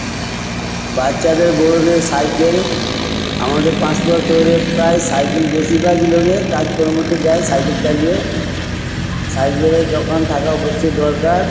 বাচ্চাদের বড়দের সাইকেল আমাদের পাঁশকুড়া শহরে প্রায় সাইকেল বেশিরভাগই লোকে কাজকর্মতে যায় সাইকেল চালিয়ে। সাইকেল -এর দোকান থাকা অবশ্যই দরকার।